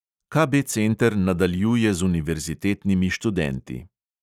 KB center nadaljuje z univerzitetnimi študenti.